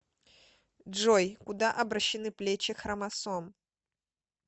джой куда обращены плечи хромосом